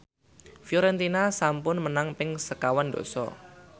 Fiorentina sampun menang ping sekawan dasa